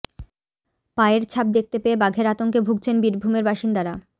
পায়ের ছাপ দেখতে পেয়ে বাঘের আতঙ্কে ভুগছেন বীরভূমের বাসিন্দারা